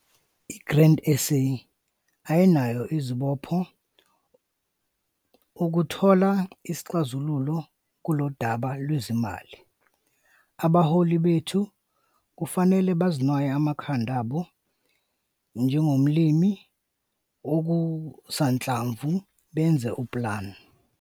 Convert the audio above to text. I-Grain SA ayinazo izibopho ukuthola isixazululo kulolu daba lwezezimali. Abaholi bethu kufanele banwaye amakhanda abo njengomlimi wokusanhlamvu benze upulani.